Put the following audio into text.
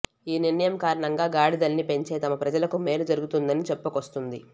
ఈ నిర్ణయం కారణంగా గాడిదల్ని పెంచే తమ ప్రజలకు మేలు జరుగుతుందని చెప్పుకొస్తోంది